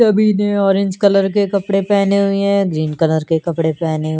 सभी ने orange colour के कपड़े पहने हुए हैं ग्रीन कलर के कपड़े पहने--